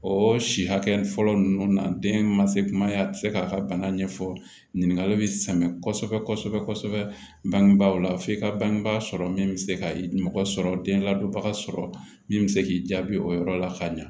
O si hakɛ fɔlɔ ninnu na den ma se kuma ye a tɛ se k'a ka bana ɲɛfɔ ɲininkali bɛ sɛmɛ kosɛbɛ kosɛbɛ bangebaaw la f'i ka bangebaa sɔrɔ min bɛ se ka mɔgɔ sɔrɔ den ladonbaga sɔrɔ min bɛ se k'i jaabi o yɔrɔ la ka ɲa